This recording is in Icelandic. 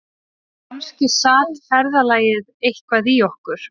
Kannski sat ferðalagið eitthvað í okkur